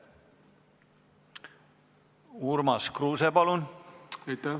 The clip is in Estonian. Urmas Kruuse, palun!